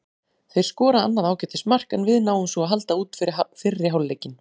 Þeir skora annað ágætis mark, en við náum svo að halda út fyrri hálfleikinn.